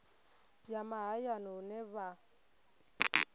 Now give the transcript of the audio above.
ya mahayani hune ha vha